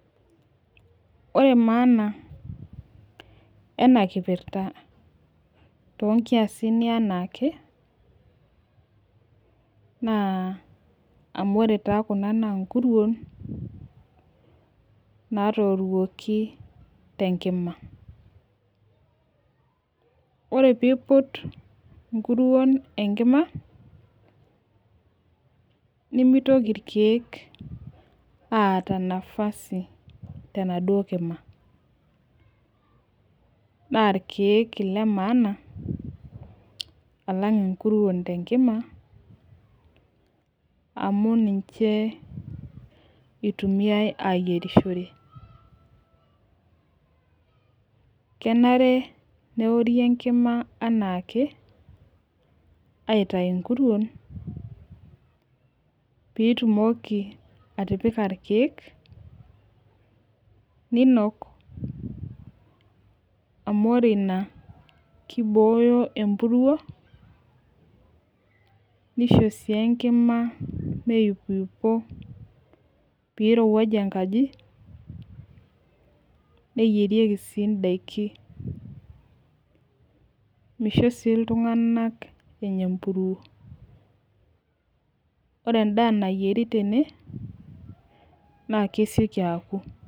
Ore maana ena kipirta too nkiasin ee anaake. amu ore taa Kuna naa nkuruon naatoruoki te nkima. ore pee iput nkuruon enkima. nemitki irkeek aata nafasi tenaduoo kima. naa irkeek Ile maana, alang' inkuruon te nkima, amu ninchee itumiae asioki. kenare neori enkima anaake aitayu nkuruon. pee itumoki atipika irkeek, ninok amu, ore Ina kibooyo empuruo. nisho sii enkima meipiuypo, pee irowuajie enkaji, neyierieki sii daiki. misho iltunganak Enya empuruo. ore edaa nayieri tene naa kesioki aku.